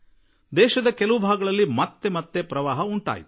ದೇಶದ ಒಂದಲ್ಲಾ ಒಂದು ಭಾಗದಲ್ಲಿ ಪದೇ ಪದೇ ಪ್ರವಾಹ ಉಂಟಾಯಿತು